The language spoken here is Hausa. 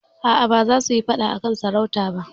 A'a, ba za su yi faɗa a kan sarauta ba.